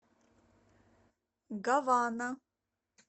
гавана